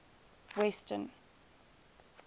western